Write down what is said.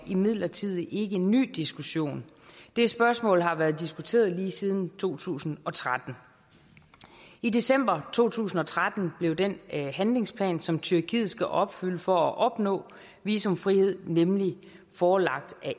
imidlertid ikke en ny diskussion det spørgsmål har været diskuteret lige siden to tusind og tretten i december to tusind og tretten blev den handlingsplan som tyrkiet skal opfylde for at opnå visumfrihed nemlig forelagt af